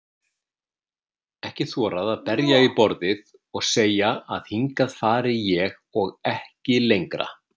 Ekki þorað að berja í borðið og segja að hingað fari ég og ekki lengra.